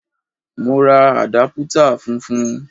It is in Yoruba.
Mo ra àdápútà funfun.